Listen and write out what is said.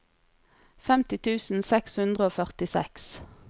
femti tusen seks hundre og førtiseks